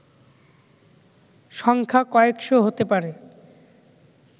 সংখ্যা কয়েকশ’ হতে পারে